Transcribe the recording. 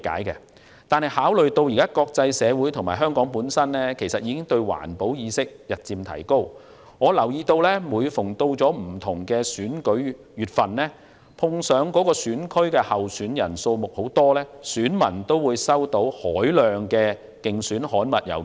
現時國際社會及香港的環保意識日漸提高，但我留意到每逢選舉臨近，如果某個選區的候選人數目眾多，該區選民都會收到大量選舉郵件。